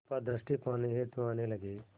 कृपा दृष्टि पाने हेतु आने लगे